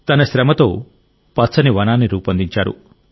తన శ్రమతో పచ్చని వనాన్ని రూపొందించారు